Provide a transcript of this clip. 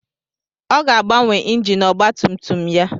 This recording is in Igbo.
Ọ ga-agbanwe injin ọgba tum tum ya.